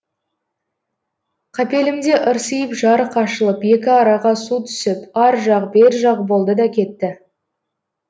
қапелімде ырсиып жарық ашылып екі араға су түсіп ар жақ бер жақ болды да кетті